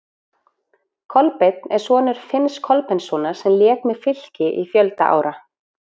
Kolbeinn er sonur Finns Kolbeinssonar sem lék með Fylki í fjölda ára.